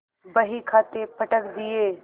बहीखाते पटक दिये